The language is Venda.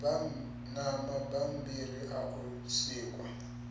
na mabambiri a u sikwa